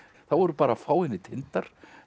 þá voru bara fáeinir tindar